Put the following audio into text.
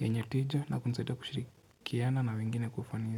yenye tija na kunisaidia kushirikiana na wengine kwa ufanisi.